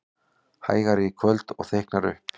Hægari í kvöld og þykknar upp